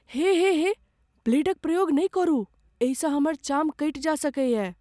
हे..हे हे, ब्लेडक प्रयोग नहि करू। एहिसँ हमर चाम कटि जा सकैयै।